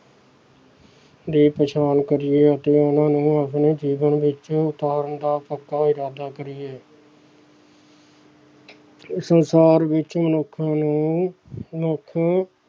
ਦੀ ਪਛਾਣ ਕਰੀਏ ਅਤੇ ਉਹਨਾਂ ਨੂੰ ਆਪਣੇ ਜੀਵਨ ਵਿੱਚ ਉਤਾਰਨ ਦਾ ਪੱਕਾ ਇਰਾਦਾ ਕਰੀਏ ਸੰਸਾਰ ਵਿੱਚ ਮਨੁੱਖ ਨੂੰ ਮੁੱਖ